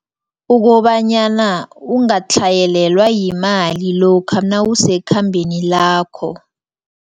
Ukobanyana ungatlhayelelwa yimali lokha nawusekhambeni lakho.